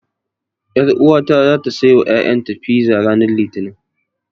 Ƴaruwata zata saiwa ƴaƴanta fiza ranar Litinin.